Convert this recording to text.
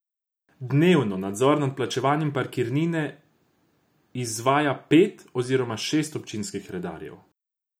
Dnevno nadzor nad plačevanjem parkirnine v izvaja pet oziroma šest občinskih redarjev.